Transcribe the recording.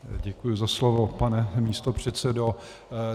Děkuji za slovo, pane místopředsedo.